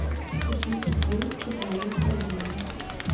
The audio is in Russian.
сосиски клинские положи в корзину